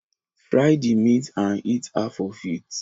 Fry the meat and eat half of it